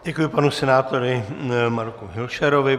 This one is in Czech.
Děkuji panu senátoru Marku Hilšerovi.